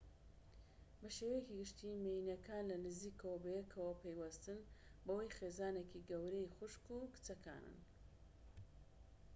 بە شێوەیەکی گشتی مێییەنەکان لە نزیکەوە بەیەکەوە پەیوەستن بەوەی خێزانێکی گەورەی خوشک و کچەکانن